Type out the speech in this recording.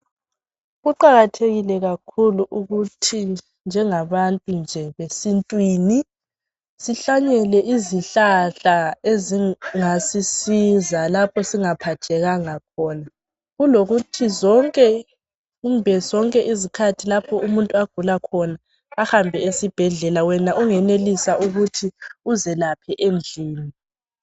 Kuqakathekile kakhulu ukuthi njengabantu nje besintwini sihlanyele izihlahla ezingasisiza lapho singaphathekanga khona kulokuthi zonke kumbe zonke izikhathi lapho umuntu agula khona ahambe esibhedlela wena ungenelisa ukuthi uzelaphe endlini